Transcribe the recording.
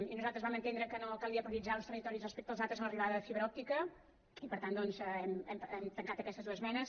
i nosaltres vam entendre que no calia prioritzar uns territoris respecte als altres en l’arribada de fibra òptica i per tant doncs hem tancat aquestes dues esmenes